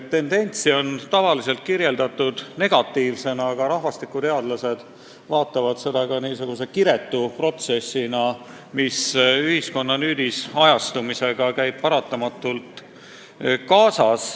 Tendentsi on tavaliselt küll negatiivseks peetud, aga rahvastikuteadlased võtavad seda enamasti kiretult protsessina, mis ühiskonna nüüdisajastumisega paratamatult kaasas käib.